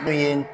Min ye